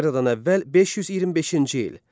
Eradan əvvəl 525-ci il.